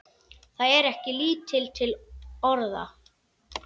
Það er ekki lítil orða!